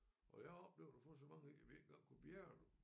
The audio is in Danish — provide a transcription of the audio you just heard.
Og jeg har oplevet at få så mange i at vi ikke engang kunne bjærge dem